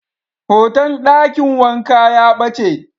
Hoton dakin wanka ya bace.